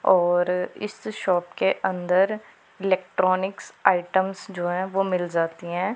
और इस शॉप के अंदर इलेक्ट्रॉनिक आइटम जो है वो मिल जाती हैं।